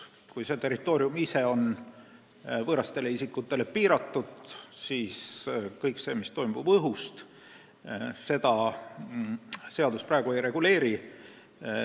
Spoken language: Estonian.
Kui territoorium ise on võõrastele isikutele suletud, siis kõike seda, mis toimub õhust, seadus praegu ei reguleeri.